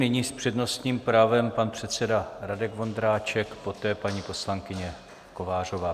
Nyní s přednostním právem pan předseda Radek Vondráček, poté paní poslankyně Kovářová.